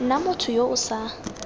nna motho yo o sa